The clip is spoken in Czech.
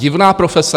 Divná profese?